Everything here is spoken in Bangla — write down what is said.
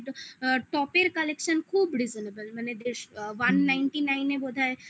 টপের collection খুব reasonable মানে বেশ one ninety nine এ বোধহয়